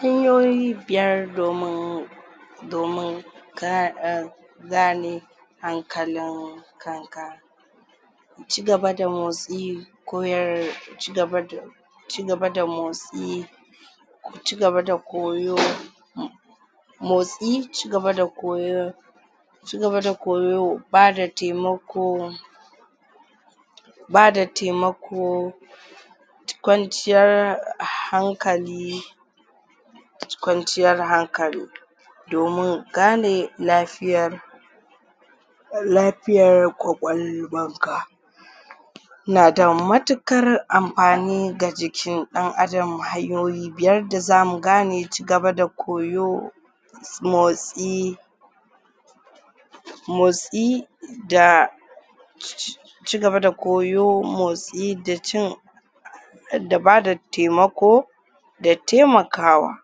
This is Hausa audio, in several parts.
hanyoyi biyar domin domin ka a gane hankalin kanka ci gaba da motsi ko ya cigaba da motsi ko cigaba da koyo motsi ci gaba da koyo ci gaba da koyo bada taimako bada taimako kwanciyar hankali kwanciyar hankali domin gane lafiyar lafiyar kwakwalwan ka nada matuƙar amfani ga jikin ɗan adam hanyoyi biyar da zamu gane ci gaba da koyo motsi motsi da cigaba da koyo motsi da cin da bada taimako da taimakawa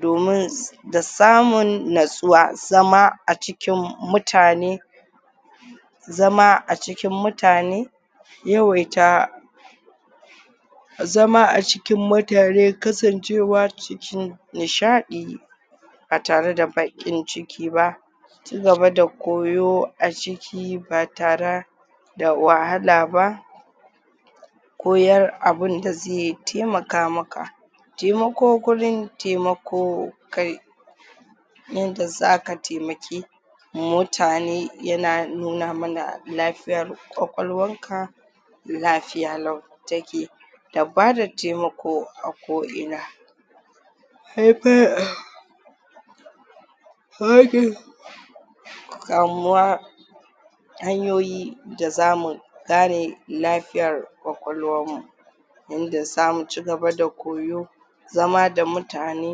domin da samun natsuwa zama a cikin mutane zama a cikin mutane yawaita zama a cikin mutane kasancewa cikin nishaɗi ba tare da baƙin ciki ba ci gaba da koyo a ciki ba tare da wahala ba koyan abunda zai taimaka maka taimako gurin taimako ka yanda zaka taimaki mutane yana nuna mana lafiyar kwakwalwar ka lafiya lau take da bada taimako a ko ina kamuwa hanyoyi da zmu kare lafiyar kwakwalwar mu yanda zamu ci gaba da koyo zama da mutane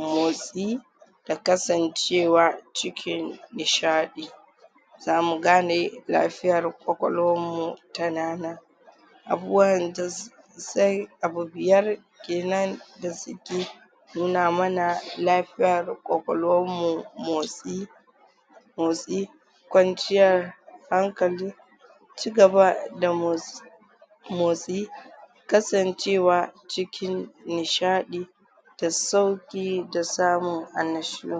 motsi da kasancewa cikin nishaɗi zamu gane lafiyar kwakwalwar mu tana nan abubuwan da zai abu biyar kenan da suke nuna mana lafiyar kwakwalwar mu motsi motsi kwanciyar hankali ci gaba da mots motsi kasancewa cikin nishaɗi da sauƙi da samun annashuwa.